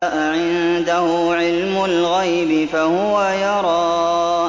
أَعِندَهُ عِلْمُ الْغَيْبِ فَهُوَ يَرَىٰ